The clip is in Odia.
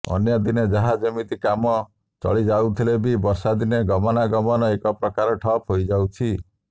ଅନ୍ୟଦିନେ ଯାହା ଯେମିତି କାମ ଚଳିଯାଉଥିଲେ ବି ବର୍ଷାଦିନେ ଗମନାଗମନ ଏକ ପ୍ରକାର ଠପ ହୋଇଯାଉଛି